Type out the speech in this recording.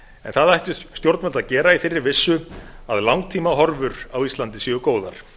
en það ættu stjórnvöld að gera í þeirri vissu að langtímahorfur á íslandi séu góðar